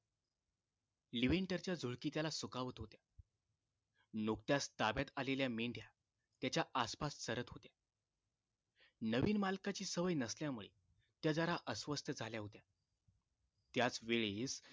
लिविंटरच्या झुळकी त्याला सुखावत होत्या नुकत्याच ताब्यात आलेल्या मेंढ्या त्याच्या आसपास चरत होत्या नवीन मालकाची सवय नसल्यामुळे त्या जरा अस्वस्थ झाल्या होत्या त्याचवेळेस